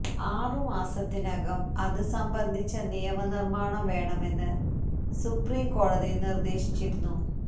ആറുമാസത്തിനകം അത് സംബന്ധിച്ച നിയമ നിർമ്മാണം വേണമെന്ന് സുപ്രീം കോടതി നിർദ്ദേശിച്ചിരുന്നു